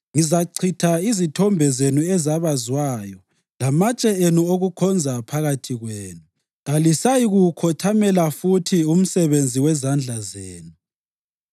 Ngizachitha izithombe zenu ezabazwayo lamatshe enu okukhonza phakathi kwenu; kalisayi kuwukhothamela futhi umsebenzi wezandla zenu.